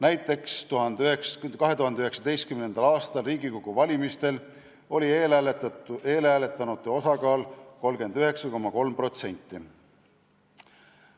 Näiteks 2019. aasta Riigikogu valimistel oli eelhääletanute osakaal 39,3%.